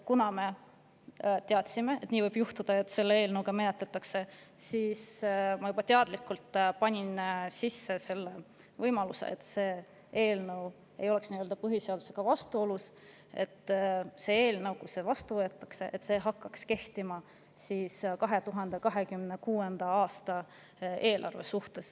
Kuna me teadsime, et nii võib juhtuda, et neid menetletakse, siis ma juba teadlikult panin sisse selle võimaluse – selleks, et see ei oleks põhiseadusega vastuolus –, et kui see eelnõu vastu võetakse, siis see hakkaks kehtima 2026. aasta eelarve kohta.